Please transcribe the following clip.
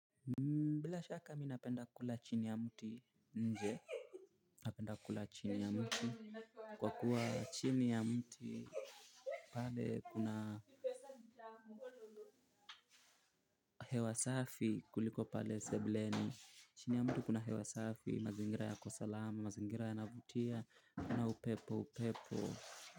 Mbila shaka mi napenda kula chini ya mti nje napenda kula chini ya mti kwa kuwa chini ya mti pale kuna hewa safi kuliko pale sebuleni chini ya muti kuna hewa safi mazingira yako salama mazingira yanavutia na upepo upepo.